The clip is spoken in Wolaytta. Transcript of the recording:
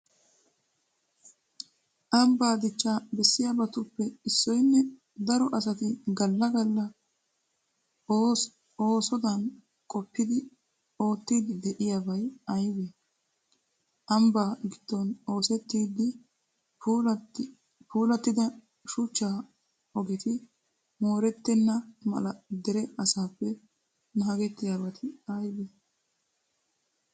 Ambbaa dichchaa bessiyabatuppe issoynne daro asati galla galla oosodan qoppidi oottiiddi de'iyabay aybee? Ambbaa giddon oosettida puulattida shuchchaa ogeti moorettenna mala dere asaappe naagettiyabati aybee?